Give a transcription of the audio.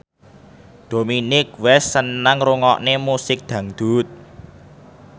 Dominic West seneng ngrungokne musik dangdut